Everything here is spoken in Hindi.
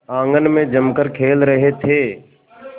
आंगन में जमकर खेल रहे थे